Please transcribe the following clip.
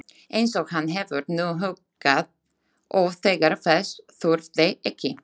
Einsog hann hefur nú huggað oft þegar þess þurfti ekki.